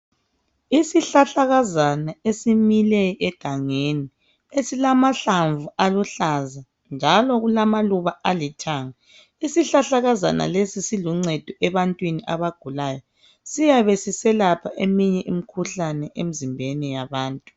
Isihlahlakazana esimile egangeni esilamahlamvu aluhlaza njalo kulamaluba alithanga Isihlahlakazana lesi siluncedo ebantwini abagulayo siyabe siselapha eminye imikhuhlane emzimbeni yabantu.